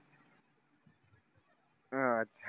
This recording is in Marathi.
हां आछ